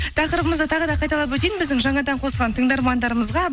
тақырыбымызды тағы да қайталап өтейін біздің жаңадан қосылған тыңдармандарымызға